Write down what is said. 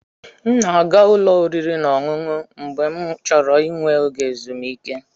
M na-aga ụlọ oriri na ọṅụṅụ mgbe m chọrọ inwe oge ezumike.